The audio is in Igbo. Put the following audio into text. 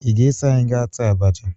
Ị ga-eso anyị gaa taa abacha?